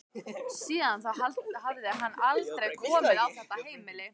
Síðan þá hafði hann aldrei komið á þetta heimili.